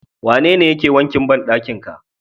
Wanene yake wankin bandakin ka?